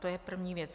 To je první věc.